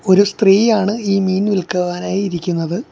ഒരു സ്ത്രീയാണ് ഈ മീൻ വിൽക്കുവാനായി ഇരിക്കുന്നത്.